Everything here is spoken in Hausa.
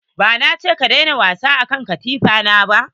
Ba na ce ka daina wasa a kan katifa na ba?